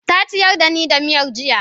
ta ciyar da ni da miyar jiya